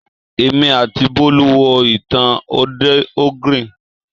Èmi àti Bọ́lú wo ìtàn òdè ogre